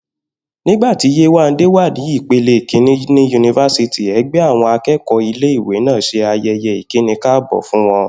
Nígbà tí Yéwándé wà ní ipele kìíní ní yunifásítì, e̩gbé̩ àwo̩n aké̩kò̩ó̩ ilé ìwé náà s̩e aye̩ye̩ ìkínikáàbò́ fún wo̩n